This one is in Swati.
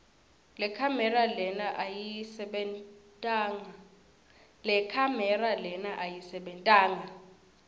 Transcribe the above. lekhamera lena ayisebentanga